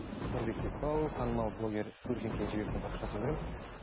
нұрбек бекбау танымал блогер көркем кенжебектің парақшасын көремін